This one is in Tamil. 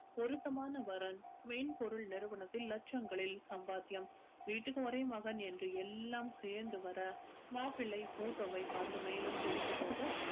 பொருத்தமான வரன் மென்பொருள் நிறுவனத்தில் லட்சங்களில் சம்பாத்தியம் வீட்டுக்கு ஒரே மகன் என்று எல்லாம் சேர்ந்து வர மாப்பிளை photo வை பார்த்து மேலும் பிடித்து போக